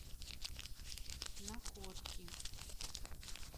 находки